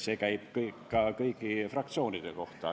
See käib ka kõigi fraktsioonide kohta.